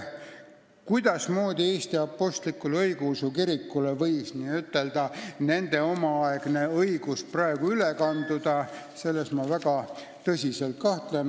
Kuidas võiks Eesti Apostlik-Õigeusu Kirikule see nende omaaegne õigus praegu üle kanduda, selles ma väga tõsiselt kahtlen.